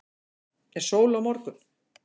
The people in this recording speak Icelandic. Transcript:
er sól á morgun